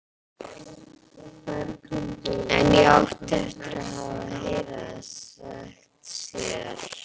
En ég átti eftir að heyra það sagt síðar.